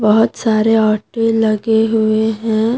बहोत सारे ऑटो लगे हुए हैं।